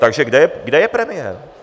Takže kde je premiér?